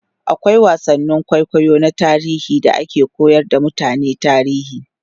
akwai wasannin kwaikwayo na tarihi da ake koyar da mutane tarihi